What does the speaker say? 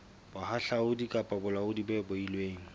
bohahlaudi kapa bolaodi bo beilweng